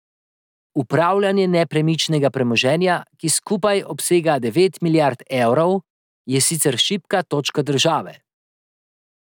Upravljanje nepremičnega premoženja, ki skupaj obsega devet milijard evrov, je sicer šibka točka države.